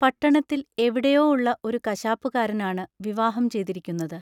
പട്ടണത്തിൽ എവിടെയോ ഉള്ള ഒരു കശാപ്പുകാരനാണ് വിവാഹം ചെയ്തിരിക്കുന്നത്.